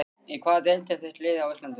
Í hvaða deild er þitt lið á Íslandi?